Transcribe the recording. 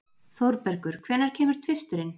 Þórbergur, hvenær kemur tvisturinn?